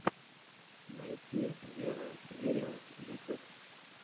найти веро вериус ютюб